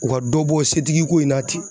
U ka dɔ bɔ setigi ko in na ten